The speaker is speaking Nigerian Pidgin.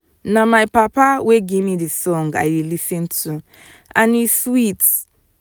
na my papa wey give me the song i dey lis ten to and e sweet